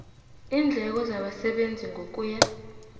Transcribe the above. iindleko zabasebenzi ngokuya